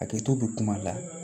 Hakɛto bɛ kuma la